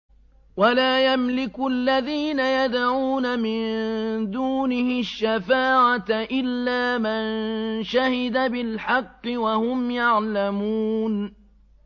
وَلَا يَمْلِكُ الَّذِينَ يَدْعُونَ مِن دُونِهِ الشَّفَاعَةَ إِلَّا مَن شَهِدَ بِالْحَقِّ وَهُمْ يَعْلَمُونَ